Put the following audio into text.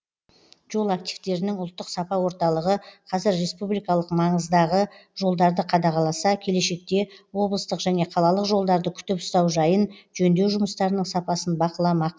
жол активтерінің ұлттық сапа орталығы қазір республикалық маңыздағы жолдарды қадағаласа келешекте облыстық және қалалық жолдарды күтіп ұстау жайын жөндеу жұмыстарының сапасын бақыламақ